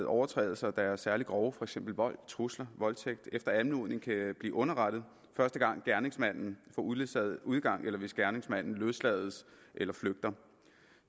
overtrædelser der er særlig grove for eksempel vold trusler voldtægt efter anmodning kan blive underrettet første gang gerningsmanden får uledsaget udgang eller hvis gerningsmanden løslades eller flygter